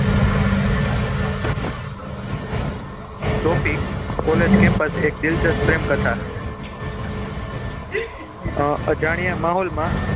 Topic college campus એક દિલચસ્પ પ્રેમ કથા અજાણ્યા માહોલમાં